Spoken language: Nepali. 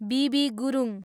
be B Gurung